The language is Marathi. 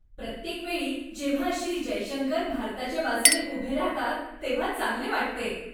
प्रत्येकवेळी जेव्हा श्री. जयशंकर भारताच्या बाजूने उभे राहतात, तेव्हा चांगले वाटते.